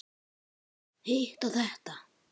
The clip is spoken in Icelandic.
Hitt og þetta.